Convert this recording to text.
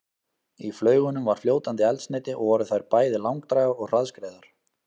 Í flaugunum var fljótandi eldsneyti og voru þær bæði langdrægar og hraðskreiðar.